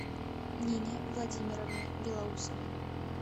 нине владимировне белоусовой